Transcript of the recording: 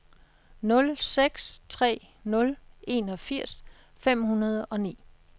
nul seks tre nul enogfirs fem hundrede og ni